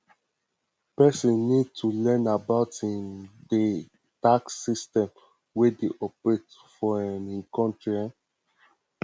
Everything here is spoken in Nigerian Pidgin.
person need to learn about um di tax system wey dey operate for im um country um